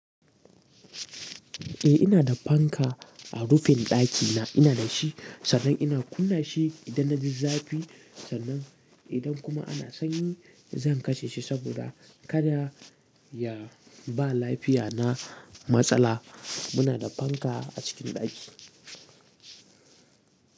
Eh ina da fanka a rufin ɗakina, ina da shi sannan ina kunna shi idan na ji zafi. Sannan idan kuma ana sanyi zan kashe shi saboda kada ya ba lafiya na matsala. Muna da fanka a cikin ɗaki.